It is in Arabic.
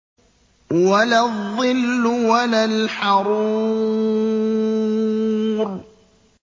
وَلَا الظِّلُّ وَلَا الْحَرُورُ